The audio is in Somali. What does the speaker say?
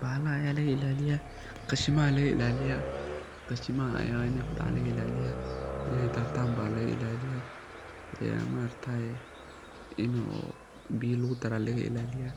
Bahalaha aya lagailaliya , qashimaha lagailaliya in ey kudacan, in ey daatan ba lagailaliya een maaragtaye in oo biyo lugudara lagailaliya